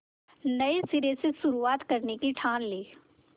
नए सिरे से शुरुआत करने की ठान ली